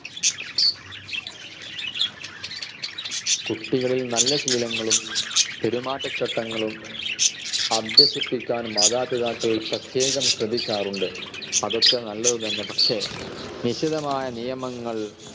കുട്ടികളിൽ നല്ല ശീലങ്ങളും പെരുമാറ്റച്ചട്ടങ്ങളും അഭ്യസിപ്പിക്കാൻ മാതാപിതാക്കൾ പ്രത്യേകം ശ്രദ്ധിക്കാറുണ്ട്. അതൊക്കെ നല്ലതുതന്നെ പക്ഷെ ലിഖിതമായ നിയമങ്ങൾ